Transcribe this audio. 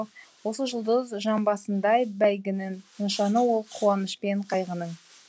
осы жұлдыз жамбысындай бәйгінің нышаны ол қуанышпен қайғының